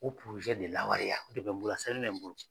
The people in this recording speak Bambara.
O de lawaleya o de bɛ n bolo a sɛbɛnlen bɛ n bolo.